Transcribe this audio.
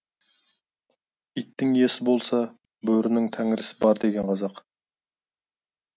иттің иесі болса бөрінің тәңірісі бар деген қазақ